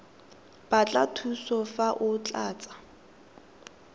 batla thuso fa o tlatsa